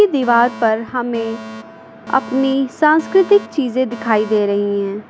दीवार पर हमें अपनी सांस्कृतिक चीजें दिखाई दे रही हैं।